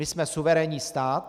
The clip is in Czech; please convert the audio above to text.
My jsme suverénní stát.